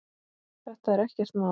Þetta er ekkert mál.